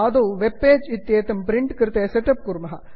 आदौ web page इत्येतं print कृते सेट् अप् कुर्मः